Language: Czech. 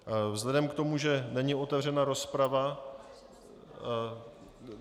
Vzhledem k tomu, že není otevřena rozprava...